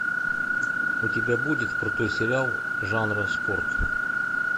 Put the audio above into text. у тебя будет крутой сериал жанра спорт